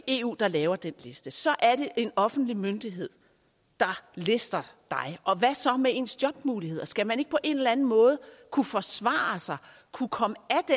eu der laver den liste så er det en offentlig myndighed der lister dig og hvad så med ens jobmuligheder skal man ikke på en eller anden måde kunne forsvare sig kunne komme